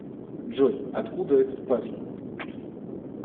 джой откуда этот парень